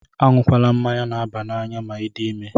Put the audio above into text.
Añukwala mmanya na-aba n'anya ma I dị ime!